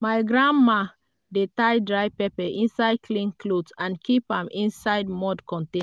grandma dey tie dry pepper inside clean cloth and keep am inside mud contain